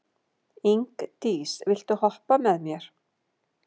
Ingdís, viltu hoppa með mér?